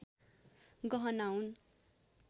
गहना हुन्